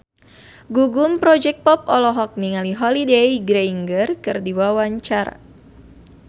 Gugum Project Pop olohok ningali Holliday Grainger keur diwawancara